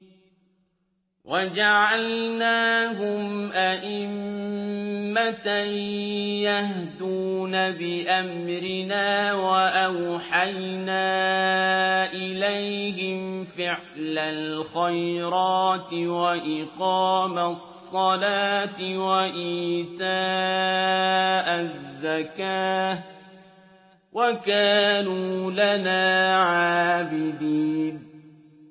وَجَعَلْنَاهُمْ أَئِمَّةً يَهْدُونَ بِأَمْرِنَا وَأَوْحَيْنَا إِلَيْهِمْ فِعْلَ الْخَيْرَاتِ وَإِقَامَ الصَّلَاةِ وَإِيتَاءَ الزَّكَاةِ ۖ وَكَانُوا لَنَا عَابِدِينَ